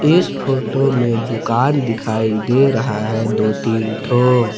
इस फोटो में दुकान दिखाई दे रहा है दो तीन ठो।